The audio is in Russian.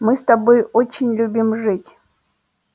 мы с тобой очень любим жить